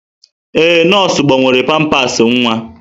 Ee, nọọsụ gbanwere pampasị nwa.